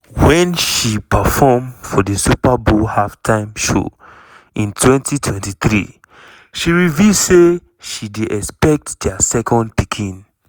wen she perform for di super bowl halftime show in 2023 she reveal say she dey expect dia second pikin.